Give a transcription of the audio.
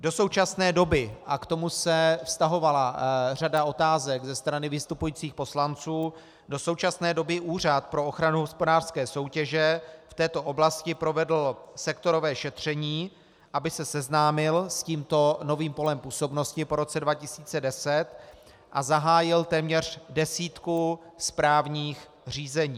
Do současné doby, a k tomu se vztahovala řada otázek ze strany vystupujících poslanců, do současné doby Úřad pro ochranu hospodářské soutěže v této oblasti provedl sektorové šetření, aby se seznámil s tímto novým polem působnosti po roce 2010, a zahájil téměř desítku správních řízení.